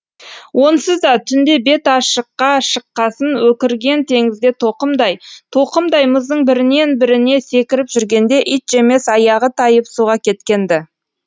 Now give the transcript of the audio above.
онсыз да түнде бет ашыққа шыққасын өкірген теңізде тоқымдай тоқымдай мұздың бірінен біріне секіріп жүргенде итжемес аяғы тайып суға кеткен ді